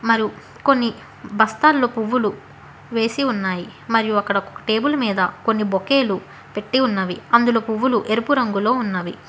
కొన్ని బస్తాల్లో పువ్వులు వేసి ఉన్నాయి మరియు అక్కడ టేబుల్ మీద కొన్ని బొకేలు పెట్టి ఉన్నవి అందులో పువ్వులు ఎరుపు రంగులో ఉన్నవి.